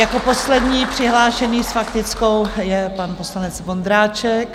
Jako poslední přihlášený s faktickou je pan poslanec Vondráček.